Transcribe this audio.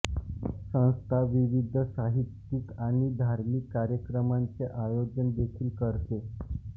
संस्था विविध साहित्यिक आणि धार्मिक कार्यक्रमांचे आयोजन देखील करते